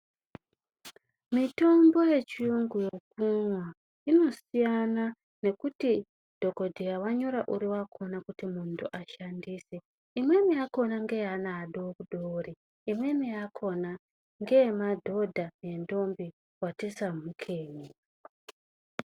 Mitombo yechiyungu mazuwa anaya inosiyana nekuti dhokodheya wanyore uri kuti muntu ashandise. Imweni yakhona yacho ngeyaana adoodori imweni yakhona ngeyemadhodha nentombi vati samhukei